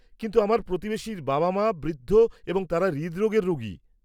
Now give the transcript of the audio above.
কিন্তু আমার প্রতিবেশীর বাবা মা বৃদ্ধ এবং তাঁরা হৃদরোগের রোগী।